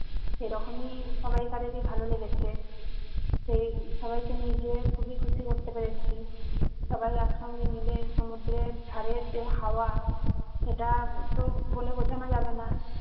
সেরকমই সবাই কারেরই ভালো লেগেছে এই সবাইকে নিয়ে যেয়ে খুবই খুশি করতে পেরেছি সবাই একসঙ্গে মিলে সুমুদ্রের ধারের যে হাওয়া সেটা তো বলে বোঝানো যাবেনা।